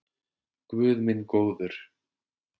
Guð minn góður